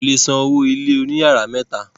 wọn kò le san owó ilé òní yàrá mẹ́ta.